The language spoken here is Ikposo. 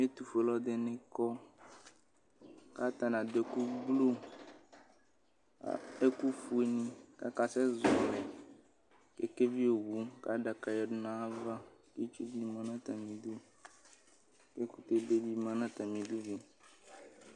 Ɛtʋ fue alʋ ɛdɩnɩ kɔ Kata la dʋ ɛkʋ gbluƐkʋ fue nɩ kaka sɛ zɔlɩ kekevi owu kadaka yǝ du nayava, itsu ku dɩ ma natamɩ du, kɛkʋtɛ be dɩ ma natamɩ du